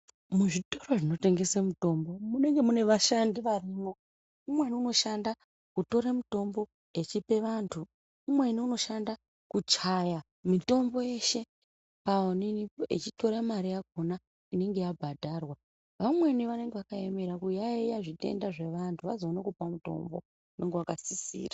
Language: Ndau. Muzvitoro zvinotengese mitombo munenge mune vashandi varimwo. Umweni inoshanda kutore mutombo echipe antu. Umweni unoshanda kuchaya mitombo yeshe paonini achitora mari yakona inenge yabhadharwa. Vamweni vanenge vakaemera kuyaiya zvitenda zvevantu vazoone kupa mutombo unonga vakasisira.